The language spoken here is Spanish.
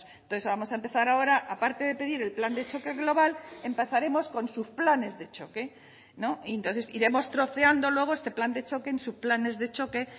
entonces vamos a empezar ahora aparte de pedir el plan de choque global empezaremos con sus planes de choque no y entonces iremos troceando luego este plan de choque en sus planes de choque